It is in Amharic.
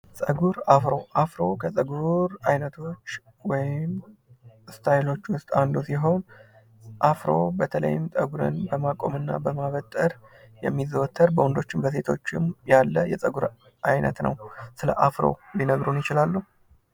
ጸጉር አፍሮ አፍሮ ከጸጉር አይነቶች ወይም ስታይሎች ዉስጥ አንዱ ሲሆን አፍሮ በተለይም ጸጉርን በማቆም እና በማበጠር የሚዘወተር በወንዶችም በሴቶችም ያለ የጸጉር አይነት ነው። ስለ አፍሮ ሊነግሩን ይችላሉ?